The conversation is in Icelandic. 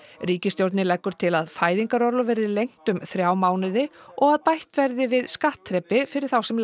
ríkistjórnin leggur til að fæðingarorlof verði lengt um þrjá mánuði og bætt verði við skattþrepi fyrir þá sem